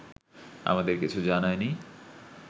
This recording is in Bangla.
আমাদের কিছু জানায়নি